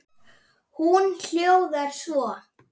Hún hljóðar svo